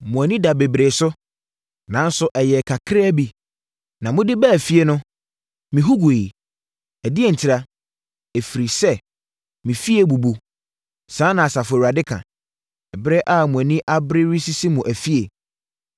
“Mo ani daa bebree so, nanso ɛyɛɛ kakraa bi. Na mode baa fie no, mehu guiɛ. Ɛdeɛn ntira?” Ɛfiri sɛ, “me fie abubu.” Saa na Asafo Awurade ka, “ɛberɛ a mo ani abere resisi mo afie.